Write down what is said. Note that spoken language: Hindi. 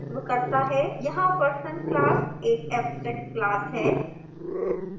यहाँ person class एक abstract class है